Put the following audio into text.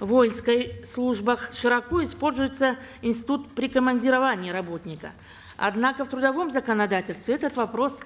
воинской службах широко используется институт прикомандирования работника однако в трудовом законодательстве этот вопрос